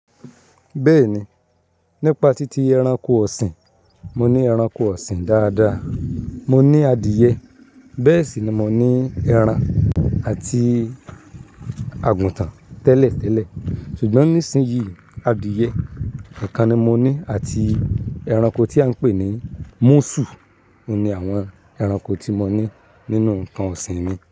Bẹ́ẹ̀ni, nípa títí ẹranko ọ̀sìn, mo ní ẹranko ọ̀sìn dáadáa. Mo ní adìẹ, bẹ́ẹ̀ sì ni mo ní ẹran àti àgùtàn tẹ́lẹ̀tẹ́lẹ̀. Ṣùgbọ́n nísinsìnyí adìẹ nìkan ni mo ní àti ẹranko tí à ń pè ní múṣù. Ó ni àwọn ẹranko tí mo ní nínú nǹkan ọ̀sìn mi.